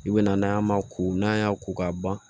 I bɛna n'a ma ko n'an y'a ko ka ban